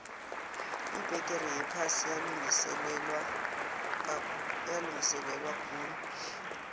ibbegere yephasi yalungiselelwakhulu